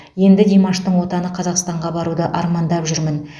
енді димаштың отаны қазақстанға баруды армандап жүрмін